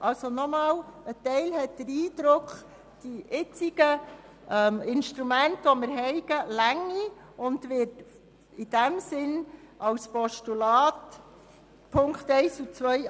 Also noch einmal: Ein Teil der Fraktion hat den Eindruck, die jetzigen Instrumente reichten aus, und sie wird in diesem Sinn die Ziffern 1 und 2 als Postulat annehmen.